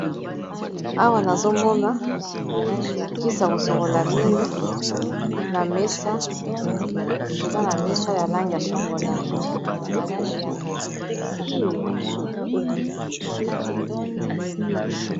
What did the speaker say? Awa nazomona kisi ya kosokola mino na mesa eza na langi ya chocolat.